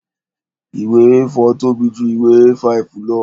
Ìwé A4 tóbi ju ìwé A5 lọ